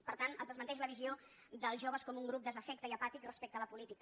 per tant es desmenteix la visió dels joves com un grup desafecte i apàtic respecte a la política